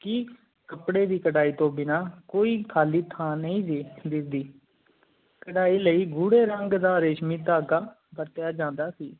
ਕਿ ਕਾਪੜੀ ਦੀ ਕਰਾਈ ਤੂੰ ਬਿਨਾ ਕੋਈ ਖਾਲੀ ਥਾ ਨੀ ਕਰੈ ਲਈ ਘੋੜੀ ਰੰਗ ਦਾ ਰੇਸ਼ਮੀ ਦਾਗ਼ ਵਰਤਿਆ ਜਾਂਦਾ ਸੀ